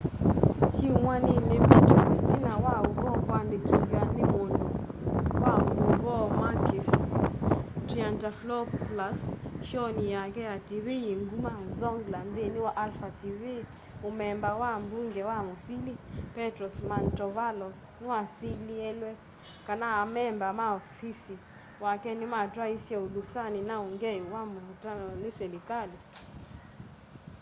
syumwa nini mbitu itina wa uvoo kuandikithwa ni mundu wa mauvoo makis triantafylopoulos showni yake ya tv yi nguma zoungla nthini wa alpha tv mumemba wa mbunge na musili petros mantovalos niwasilielwe kana amemba ma ufisi wake nimatwaiisye ulusani na ungei muvatane ni silikali